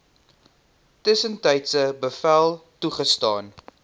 tussentydse bevel toegestaan